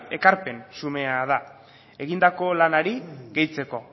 ekarpen xumea da egindako lanari gehitzeko